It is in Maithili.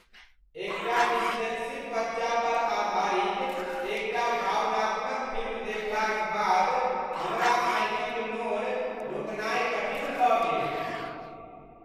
एकटा डिस्लेक्सिक बच्चा पर आधारित एकटा भावनात्मक फिल्म देखलाक बाद हमरा आँखि क नोर रोकनाई कठिन भ गेल।